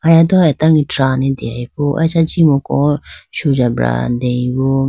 aya do atage drane deyayibo acha jimuko sujabra deyi bo.